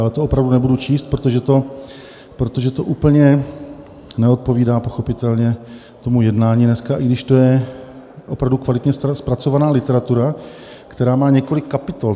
Ale to opravdu nebudu číst, protože to úplně neodpovídá pochopitelně tomu jednání dneska, i když to je opravdu kvalitě zpracovaná literatura, která má několik kapitol.